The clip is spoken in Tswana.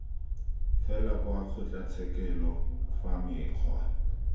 fela kwa kgotlatshekelo fa mekgwa